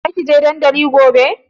Za ki je dandali gobe?